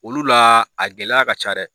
Olu la a gɛlɛya ka ca dɛ